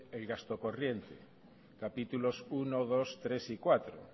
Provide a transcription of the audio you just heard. el gasto corriente capítulos primero segundo tercero y cuarto